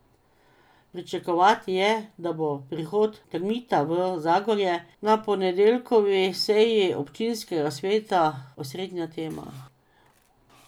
Pričakovati je, da bo prihod Termita v Zagorje na ponedeljkovi seji občinskega sveta osrednja tema.